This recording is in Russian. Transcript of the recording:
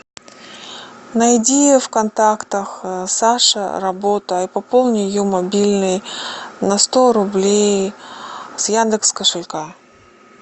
найди в контактах саша работа и пополни ее мобильный на сто рублей с яндекс кошелька